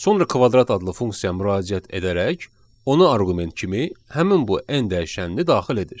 Sonra kvadrat adlı funksiyaya müraciət edərək ona arqument kimi həmin bu n dəyişənini daxil edir.